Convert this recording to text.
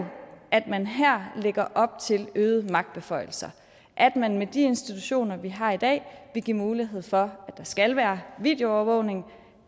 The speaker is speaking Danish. at man her lægger op til øgede magtbeføjelser at man med de institutioner vi har i dag vil give mulighed for at der skal være videoovervågning at